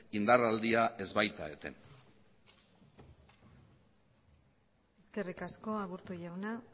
indar aldia ez baita eten eskerrik asko aburto jauna